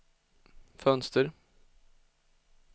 fönster